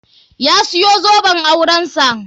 Ya siyo zoben auren sa.